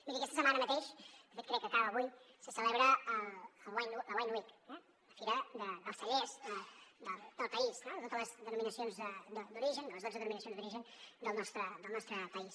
miri aquesta setmana mateix de fet crec que acaba avui se celebra la wine week la fira dels cellers del país de totes les denominacions d’origen de les dotze denominacions d’origen del nostre país